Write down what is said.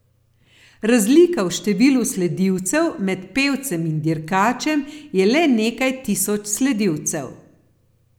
Razlika v številu sledilcev med pevcem in dirkačem je le nekaj tisoč sledilcev.